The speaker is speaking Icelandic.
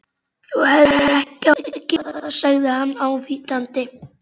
Þú hefðir ekki átt að gera það sagði hann ávítandi.